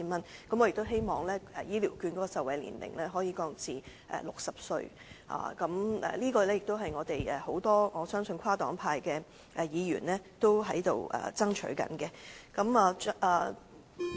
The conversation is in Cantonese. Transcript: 此外，我亦希望醫療券的受惠年齡可以降至60歲，我相信這建議亦是很多跨黨派的議員所爭取的。